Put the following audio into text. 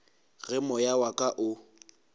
ge moya wa ka o